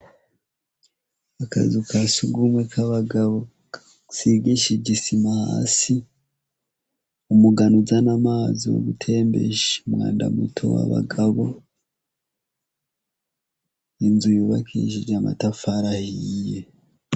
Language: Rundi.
Akazu ka sugumwe k'abagabo, gasigishijwe isima hasi, umugano uzana amazi mu gutembesha umwanda muto w'abagabo. Inzu yubakishije amatafari ahiye.